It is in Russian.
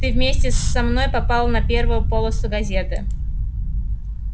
ты вместе со мной попал на первую полосу газеты